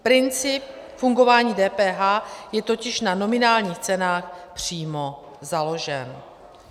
Princip fungování DPH je totiž na nominálních cenách přímo založen.